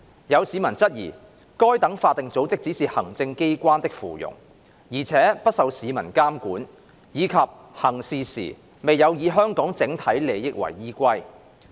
有市民質疑該等法定組織只是行政機關的附庸，而且不受市民監管，以及行事時未有以香港整體利益為依歸。